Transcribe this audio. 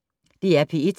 DR P1